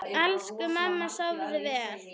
Elsku mamma, sofðu vel.